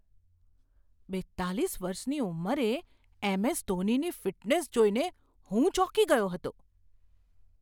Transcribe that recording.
બેતાલીસ વર્ષની ઉંમરે એમ.એસ. ધોનીની ફિટનેસ જોઈને હું ચોંકી ગયો હતો.